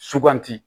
Suganti